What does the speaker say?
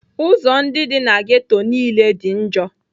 Ụzọ ndị dị na ghetto niile dị njọ.